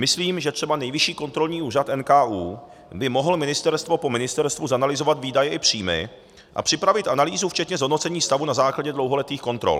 Myslím, že třeba Nejvyšší kontrolní úřad, NKÚ, by mohl ministerstvo po ministerstvu zanalyzovat výdaje i příjmy a připravit analýzu včetně zhodnocení stavu na základě dlouholetých kontrol.